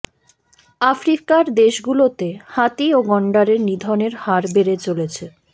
আফ্রিকার দেশগুলোতে হাতি ও গণ্ডারের নিধনের হার বেড়ে চলছে